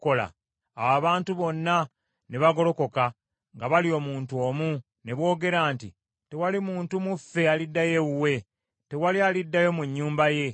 Awo abantu bonna ne bagolokoka nga bali omuntu omu, ne boogera nti, “Tewali muntu mu ffe aliddayo ewuwe. Tewali aliddayo mu nnyumba ye.